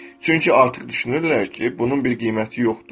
Çünki artıq düşünürlər ki, bunun bir qiyməti yoxdur.